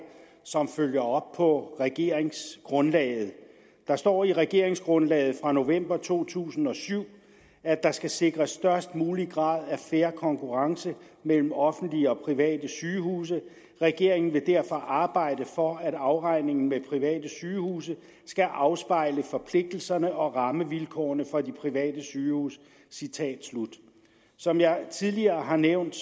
som følger op på regeringsgrundlaget der står i regeringsgrundlaget fra november to tusind og syv at der skal sikres størst mulig grad er fair konkurrence mellem offentlige og private sygehuse regeringen vil derfor arbejde for at afregningen med private sygehuse skal afspejle forpligtelserne og rammevilkårene for de private sygehuse som jeg tidligere har nævnt